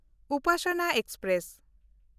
Upasana express